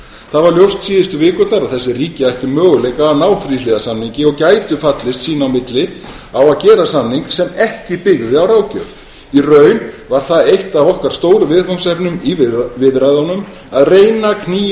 var ljóst síðustu vikurnar að þessi ríki ættu möguleika á að ná þríhliða samningi og gætu fallist sín á milli á að gera samning sem ekki byggði á ráðgjöf í raun var það eitt af okkar stóru viðfangsefnum í viðræðunum að reyna að knýja